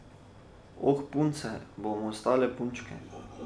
Oh, punce bomo ostale punčke.